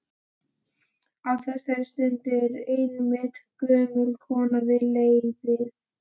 Á þessari stundu er einmitt gömul kona við leiðið.